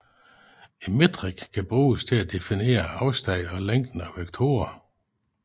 En metrik kan bruges til at definere afstand og længden af vektorer